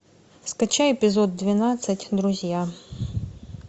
скачай эпизод двенадцать друзья